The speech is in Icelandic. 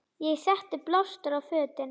Ég setti blástur á fötin.